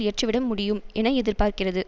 இயற்றிவிட முடியும் என எதிர்பார்க்கிறது